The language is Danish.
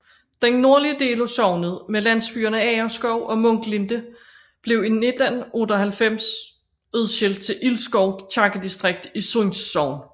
Den nordlige del af sognet med landsbyerne Agerskov og Munklinde blev i 1898 udskilt til Ilskov kirkedistrikt i Sunds Sogn